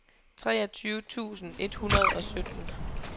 treogtyve tusind et hundrede og sytten